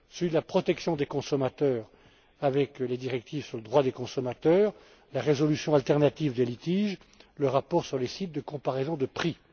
Celui de la protection des consommateurs, avec les directives sur le droit des consommateurs, la résolution alternative des litiges, le rapport sur les sites de comparaison de prix.